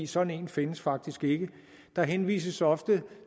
sådan en findes faktisk ikke der henvises ofte